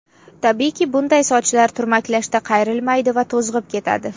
Tabiiyki, bunday sochlar turmaklashda qayrilmaydi va to‘zg‘ib ketadi.